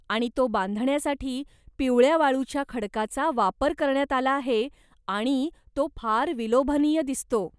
आणि तो बांधण्यासाठी पिवळ्या वाळूच्या खडकाचा वापर करण्यात आला आहे आणि तो फार विलोभनीय दिसतो.